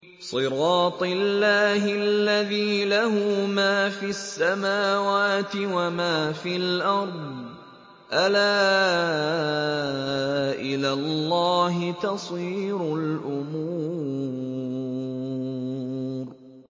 صِرَاطِ اللَّهِ الَّذِي لَهُ مَا فِي السَّمَاوَاتِ وَمَا فِي الْأَرْضِ ۗ أَلَا إِلَى اللَّهِ تَصِيرُ الْأُمُورُ